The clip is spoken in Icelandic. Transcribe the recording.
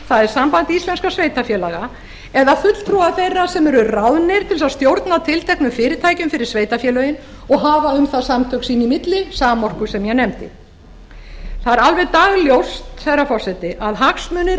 það er samband íslenskum sveitarfélaga eða fulltrúa þeirra sem eru ráðnir til að stjórna tilteknum fyrirtækjum fyrir sveitarfélögin og hafa um það samtök sín í milli samorku sem ég nefndi það er alveg dagljóst herra forseti að hagsmunir